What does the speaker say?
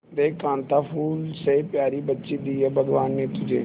देख कांता फूल से प्यारी बच्ची दी है भगवान ने तुझे